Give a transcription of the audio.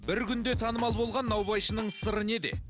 бір күнде танымал болған наубайшының сыры неде